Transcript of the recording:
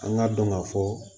An ka dɔn ka fɔ